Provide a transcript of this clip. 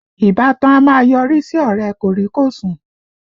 Ìbátan a máa yọrí sí ọ̀rẹ́ ẹ kòríkòsùn